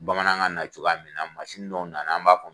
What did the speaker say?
Bamanankan na cogoya min mansin dɔw na na an b'a fɔ a ma